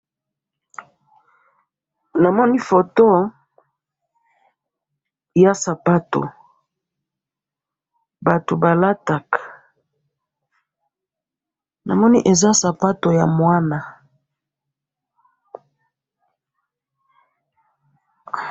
Namoni foto yasapato batu balataka, namoni eza sapato ya mwana.